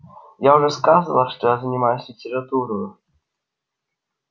я уже сказывал что я занимался литературою